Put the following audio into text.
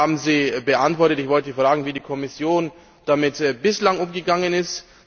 Die eine haben Sie beantwortet. Ich wollte fragen, wie die Kommission damit bislang umgegangen ist.